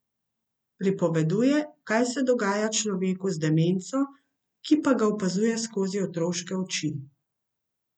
Pripoveduje, kaj se dogaja človeku z demenco, ki pa ga opazuje skozi otroške oči.